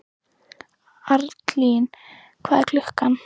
Arnlín, hvað er klukkan?